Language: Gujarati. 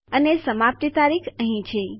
અને સમાપ્તિ તારીખ અહીં છે